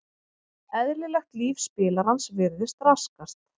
Eðlilegt líf spilarans virðist raskast.